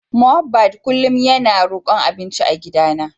Mohbad kullum yana rokon abinci a gidana.